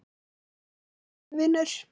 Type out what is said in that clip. Vertu sæll, vinur.